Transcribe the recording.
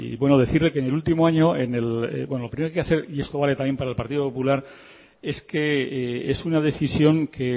bueno decirle que en el último año lo primero que hay que hacer y esto vale también para el partido popular es que es una decisión que